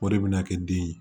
O de bɛna kɛ den ye